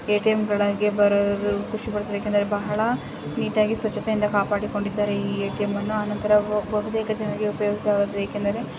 ATM ಗೆಳಿಗೆ ಬರಲು ಖುಷಿ ಪಡತಾರೇ ಯಾಕೆಂದ್ರೆ ಬಹಳ ನೀಟಾ ಗಿ ಸ್ವಚ್ಚತೆ ಇಂದ ಕಾಪಾಡಿಕೊಂಡಿದ್ದಾರೆ ಈ ಎ_ಟಿ_ಎಂ ಅನ್ನು ಅನಂತರ ಬಹುತೇಕ ಜನರಿಗೆ ಉಪಯುಕ್ತವಾದುದು ಏಕೆಂದರೆ ---